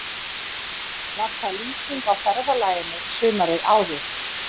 Var það lýsing á ferðalaginu sumarið áður.